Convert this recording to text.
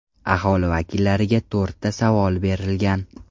Aholi vakillariga to‘rtta savol berilgan.